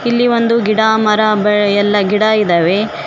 ಇಲ್ಲಿ ಒಂದು ಗಿಡ ಮರ ಬ ಎಲ್ಲ ಗಿಡ ಇದಾವೆ.